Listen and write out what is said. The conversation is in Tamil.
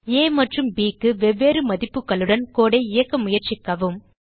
ஆ மற்றும் bக்கு வெவ்வேறு மதிப்புகளுடன் கோடு ஐ இயக்க முயற்சிக்கவும்